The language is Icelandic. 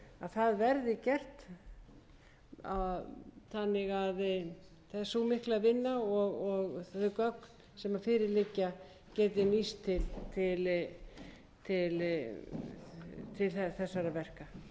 það verði gert þannig að sú mikla vinna og þau gögn sem fyrir liggja geti nýst til þessara verka hæstvirtur forseti ég legg til fyrir